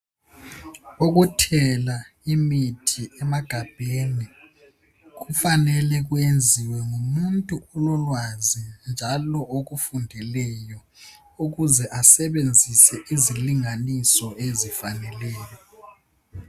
Ukuthela imithi emagabheni kufanele kwenziwe ngumuntu ololwazi njalo okufundeleyo ukuze asebenzise izilinganiso ezifaneleyo.